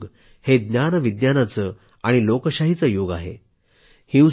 सध्याचे युग हे ज्ञानविज्ञानाचे आणि लोकशाहीचे युग आहे